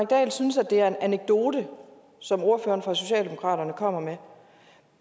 dahl synes det er en anekdote som ordføreren for socialdemokratiet kommer med